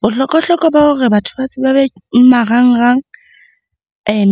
Bohlokwa-hlokwa ba hore batho base ba be marangrang